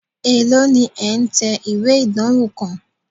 Èló ni ẹ̀ ń tẹ ìwé ìdánwó kan?